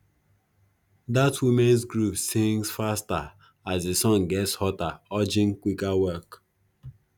dat womens group sings faster as di sun gets hotter urging quicker work